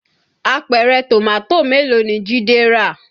Àpẹrẹ Tomato mélòó ni Jide rà?